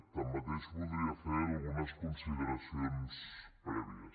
tanmateix voldria fer algunes consideracions prèvies